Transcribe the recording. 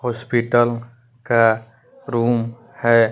Hospital का room है।